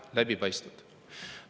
– läbipaistvad.